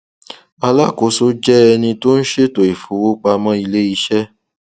alákòóso jẹ ẹni tí ó n ṣètò ìfowópamọ iléiṣẹ